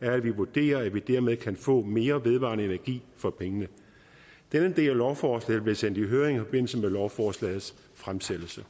er at vi vurderer at vi dermed kan få mere vedvarende energi for pengene denne del af lovforslaget blev sendt i høring i forbindelse med lovforslagets fremsættelse